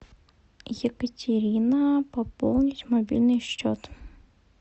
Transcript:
екатерина пополнить мобильный счет